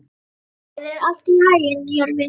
Gangi þér allt í haginn, Jörvi.